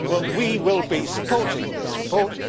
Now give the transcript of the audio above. We will be supporting this report.